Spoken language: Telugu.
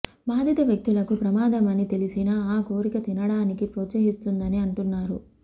బాధిత వ్యక్తులకు ప్రమాదమని తెలిసినా ఆ కోరిక తినడానికి ప్రోత్సహిస్తుందని అంటున్నారు